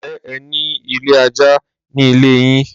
Ǹjẹ́ ẹ ní ilé ẹja ní ilé yín?